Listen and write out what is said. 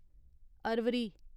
Arvari